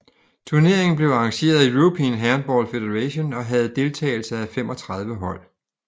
Turneringen blev arrangeret af European Handball Federation og havde deltagelse af 35 hold